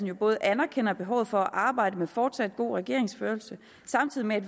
jo både anerkender behovet for at arbejde med fortsat god regeringsførelse samtidig med at